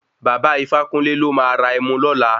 Baba Ifákúnle ló máa ra Ẹmu lọla.